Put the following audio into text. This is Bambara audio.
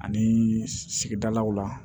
Ani sigidalaw la